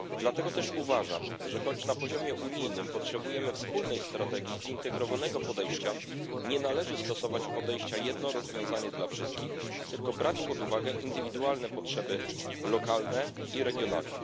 Dlatego też uważam, że choć na poziomie unijnym potrzebujemy wspólnej strategii i zintegrowanego podejścia, nie należy stosować podejścia jedno rozwiązanie dla wszystkich, tylko brać pod uwagę indywidualne potrzeby lokalne i regionalne.